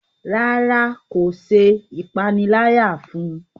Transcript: ràrá kò ṣe ìpaniláyà fún.